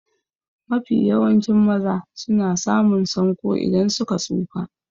Mafi yawancin maza na samun sanƙo idan suka tsufa.